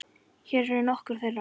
Hér eru nokkur þeirra.